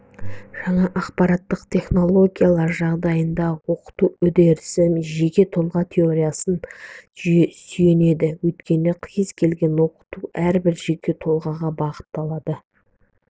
жаңа ақпараттық технологиялар жағдайындағы оқыту үдерісі жеке тұлға теориясына сүйенеді өйткені кез келген оқыту әрбір жеке тұлғаға бағытталады